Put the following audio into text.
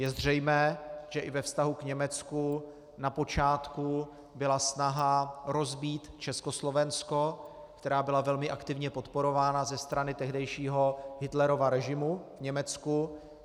Je zřejmé, že i ve vztahu k Německu na počátku byla snaha rozbít Československo, která byla velmi aktivně podporována ze strany tehdejšího Hitlerova režimu v Německu.